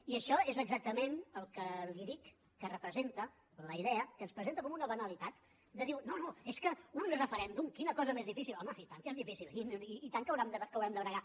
i això és exactament el que li dic que representa la idea que ens presenta com una banalitat de dir no no és que un referèndum quina cosa més difícil home i tant que és difícil i tant que haurem de bregar